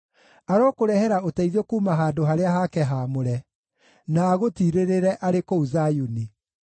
Arokũrehere ũteithio kuuma handũ harĩa hake haamũre, na agũtiirĩrĩre arĩ kũu Zayuni.